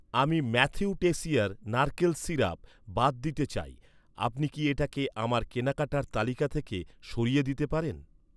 আমি Matthew Tessier নারকেল syrup বাদ দিতে চাই, আপনি কি এটাকে আমার কেনাকাটার তালিকা থেকে সরিয়ে দিতে পারেন?